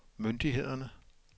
myndighederne